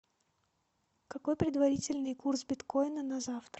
какой предварительный курс биткоина на завтра